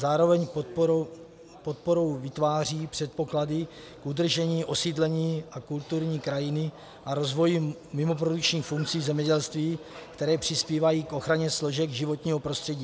Zároveň podporou vytváří předpoklady k udržení osídlení a kulturní krajiny a rozvoji mimoprodukčních funkcí zemědělství, které přispívají k ochraně složek životního prostředí.